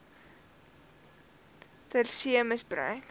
ter see misbruik